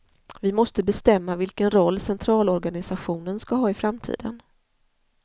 Vi måste bestämma vilken roll centralorganisationen ska ha i framtiden.